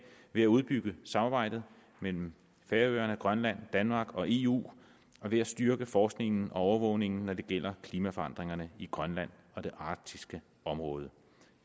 ved at udbygge samarbejdet mellem færøerne grønland danmark og eu og ved at styrke forskningen og overvågningen når det gælder klimaforandringerne i grønland og det arktiske område